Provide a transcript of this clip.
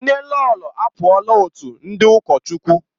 Nnelolo apụọla otu ndị ụkọchukwu.